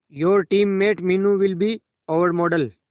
your team mate Meenu will be our model